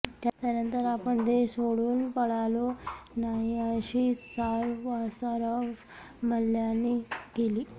त्यानंतर आपण देश सोडून पळालो नाही अशी सारवासारव मल्ल्यांनी केली